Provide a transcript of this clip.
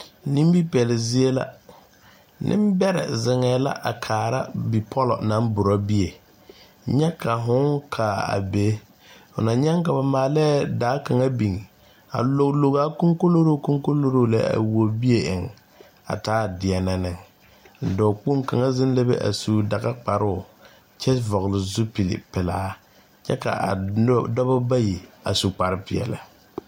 Nimipɛle zie la nembɛrɛ zeŋɛɛ la a kaara bipɔla naŋ borɔ bie nyɛ ka fooŋ kaa a be fo na nyɛŋ ka ba maalɛɛ daa kaŋ biŋ a logii logaa kɔnkoloro kɔnkoloro kɔnkoloro lɛ a wuo bie eŋ a taa deɛnɛ neŋ dɔɔkpoŋ kaŋa zeŋ la be a su dagakparoo kyɛ vɔgle zupilipelaa kyɛ k,a dɔba bayi a su kparepeɛle.